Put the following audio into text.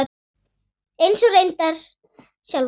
Eins og reyndar sjálfa sig.